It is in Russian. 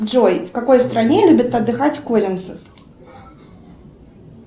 джой в какой стране любит отдыхать козинцев